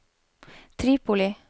Tripoli